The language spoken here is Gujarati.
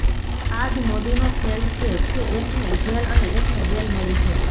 આ જ મોદીનો ખેલ છે કે એકને જેલ અને એકને બેલ મળી છે